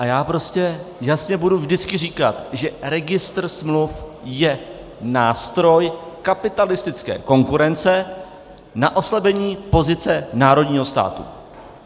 A já prostě jasně budu vždycky říkat, že registr smluv je nástroj kapitalistické konkurence na oslabení pozice národního státu.